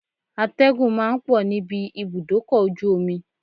Atẹ́gùn ma ń pọ̀ níbi ibùdókọ̀ ojú omi